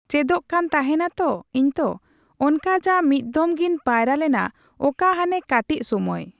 ᱠᱚ ᱪᱮᱫᱮᱜ ᱠᱟᱱ ᱛᱟᱦᱮᱱᱟ ᱛᱚ ᱤᱧᱛᱚ ᱚᱱᱠᱟ ᱡᱟ ᱢᱤᱫᱽᱫᱷᱚᱢ ᱜᱤᱧ ᱯᱟᱭᱨᱟᱞᱮᱱᱟ ᱚᱠᱟᱦᱟᱱᱮ ᱠᱟᱹᱴᱤᱡ ᱥᱩᱢᱟᱹᱭ